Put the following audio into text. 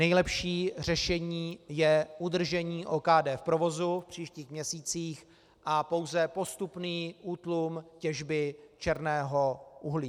Nejlepší řešení je udržení OKD v provozu v příštích měsících a pouze postupný útlum těžby černého uhlí.